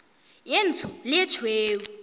ye ntsho le ye tšhweu